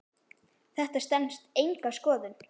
Þetta stenst enga skoðun.